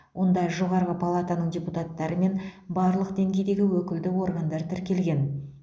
онда жоғарғы палатаның депутаттары мен барлық деңгейдегі өкілді органдар тіркелген